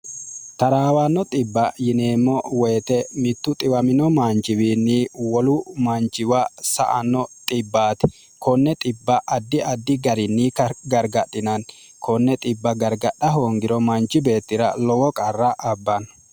taraawanno xbba yineemmo woyite mittu xiwamino manchiwiinni wolu manchiwa sa anno 0ti konne b addi addi garinni gargadhinanni konne bb gargadha hoongiro manchi beettira lowo qarra abbanno